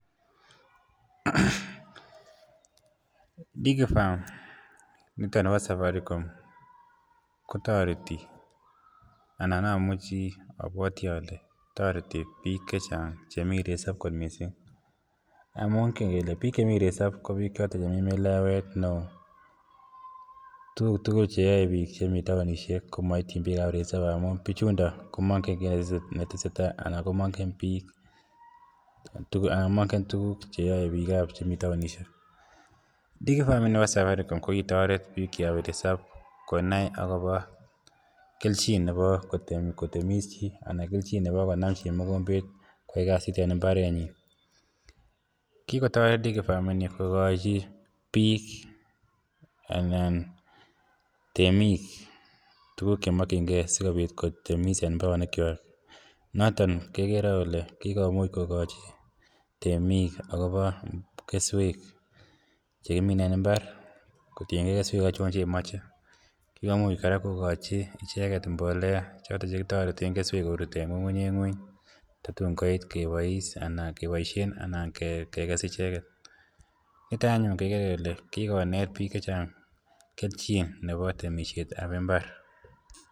Digifarm nito nebo safaricom kotoreti anan amuchi abwati ale toreti biik chechang chemi resop kot missing, amun kingern kele biik chemi resop komii melewet, tuguk tugul cheyoe biik chemi taonishek komoityin biikab resop amun bichuundon komongen kit netese tai anan komongen tuguk cheyoe biikab taonishek. Digifarm ini bo safaricom kokitoret biik cheyobu resop konai akobo kelchin ne bo kotemis chii anan kelchin ne bo konam chii mokombet kwai kasit en mbarenyin kikotoret Digifarm ini kokochi biik anan temik tuguk chemikyingee sikobit kotemis en mbaronikchwak noton kekeree kele kikomuch kokochi temik akobo keswek chekimen en mbar kotiengee keswek achon chemoche, kikomuch kora kokochi ichek mbolea chekitoreten keswek korut en ng'ung'unyek ngweny totun koit kobois anan keboisien anan kekes icheket niton anyun kekere kele kikonet biik chechang kelchin akobo temisietab mbar.